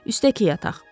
Üstəki yataq.